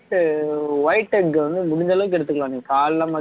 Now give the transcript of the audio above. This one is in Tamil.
white white egg வந்து முடிஞ்ச அளவுக்கு எடுத்துக்கலாம் நீங்க காலையில மதியம்